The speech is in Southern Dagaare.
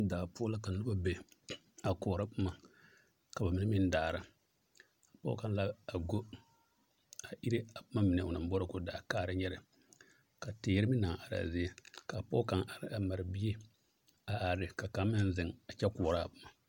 Daa poɔ la ka noba be a koɔrɔ boma ka bamine meŋ daara, pɔge kaŋ la a go a ire a boma mine onaŋ boɔrɔ k'o da a kaara nyɛrɛ ka teere meŋ naŋ are a zie ka pɔge kaŋ are a mare bie a are ne ka kaŋ meŋ zeŋ a kyɛ koɔraa boma.